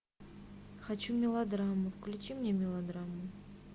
хочу мелодраму включи мне мелодраму